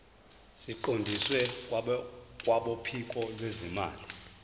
siqondiswe kwabophiko lwezimali